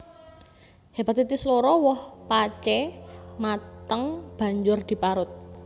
Hepatitis loro woh pacé mateng banjur diparut